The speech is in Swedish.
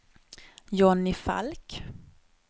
Johnny Falk